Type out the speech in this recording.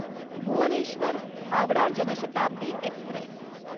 Bhubaneswar Howrah Janshatabdi Express